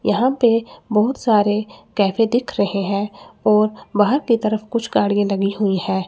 यहां पे बहुत सारे कैफे दिख रहे हैं और बाहर की तरफ कुछ गाड़ियां लगी हुई हैं।